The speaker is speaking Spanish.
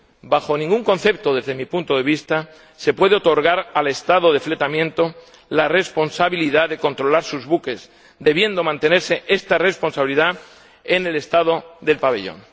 Bajo ningún concepto, desde mi punto de vista, se puede otorgar al Estado de fletamento la responsabilidad de controlar sus buques, debiendo mantenerse esta responsabilidad en el Estado del pabellón.